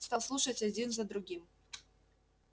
стал слушать один за другим